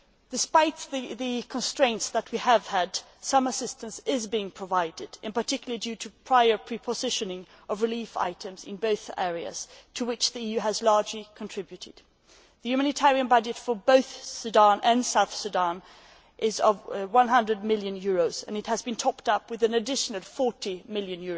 Despite the constraints that we have had, some assistance is being provided, in particular due to prior pre positioning of relief items in both areas, to which the EU has largely contributed. The humanitarian budget for both Sudan and South Sudan is EUR 100 million, and it has been topped up with an additional EUR 40 million